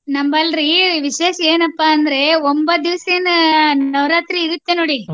ನಮ್ಮಲ್ಲಿ ವಿಶೇಷ ಏನಪ್ಪಾ ಅಂದ್ರೆ ಒಂಬತ್ತ ದಿವಸ ಏನ್ ನವರಾತ್ರಿ ಇರತ್ತೆ ನೋಡಿ.